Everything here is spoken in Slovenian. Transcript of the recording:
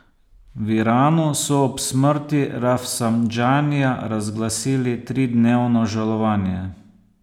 V Iranu so ob smrti Rafsandžanija razglasili tridnevno žalovanje.